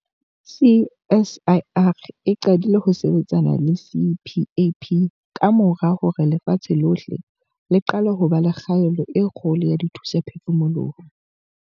CSIR e qadile ho sebetsana le CPAP kamora hore lefatshe lohle le qale ho ba le kgaello e kgolo ya dithusaphefumoloho.